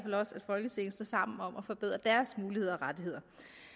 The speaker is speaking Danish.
folketinget står sammen om at forbedre deres muligheder og rettigheder